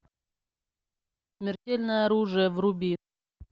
смертельное оружие вруби